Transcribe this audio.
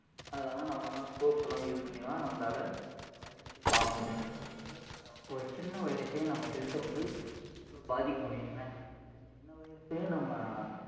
அஹ் நம்மலாம் microscope லாம் use பன்னிதான் நம்மலாள அந்த virus யே பாக்க முடியும், இப்படியா பட்ட சின்ன virus யே நம்ம health அ வந்து இவலோ பாதிக்கமுடியும்னா இந்த சின்ன virus நம்ம